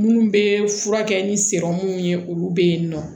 Minnu bɛ furakɛ ni minnu ye olu bɛ yen nɔ